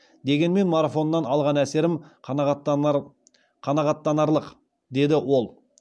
дегенмен марафоннан алған әсерім қанағаттанарлық деді ол